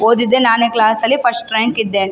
ಓದಿದ್ದೆ ನಾನೇ ಕ್ಲಾಸ್ ಅಲ್ಲಿ ಫಸ್ಟ್ ರಾಂಕ್ ಇದ್ದೆ .